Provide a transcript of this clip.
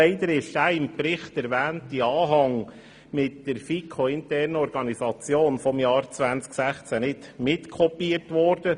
Leider ist der im Bericht erwähnte Anhang mit dem FiKo-internen Organigramm 2016 nicht mit kopiert worden.